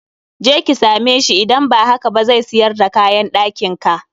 Je ki same sbhi, idan ba haka ba zai siyar da kayan ɗakin ka.